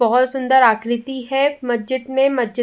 बहुत सुन्दर आकृति है। मस्जिद में मस्जिद --